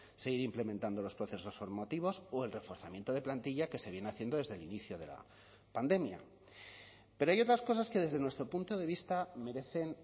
seguir implementando los procesos formativos o el reforzamiento de plantilla que se viene haciendo desde el inicio de la pandemia pero hay otras cosas que desde nuestro punto de vista merecen